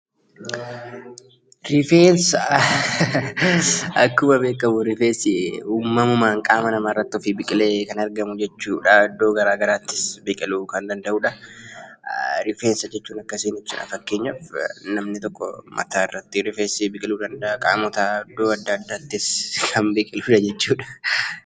Akkuma beekamu rifeensi uumamumaan qaama namaarratti ofii biqilee kan argamu jechuudha iddoo garaagaraattis biqiluu kan danda'udha. Rifeensa jechuun akkasiin ibsama fakkeenyaaf namni tokko mataarratti rifeensi mataarratti biqiluu danda'a. Rifeensi iddoo adda addaattis kan biqiludha jechuudha.